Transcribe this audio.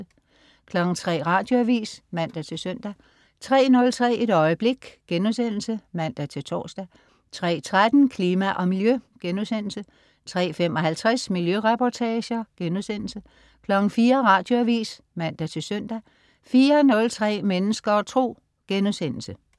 03.00 Radioavis (man-søn) 03.03 Et øjeblik* (man-tors) 03.13 Klima og Miljø* 03.55 Miljøreportager* 04.00 Radioavis (man-søn) 04.03 Mennesker og Tro*